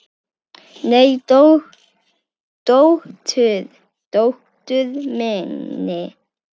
Nei, dóttur minni.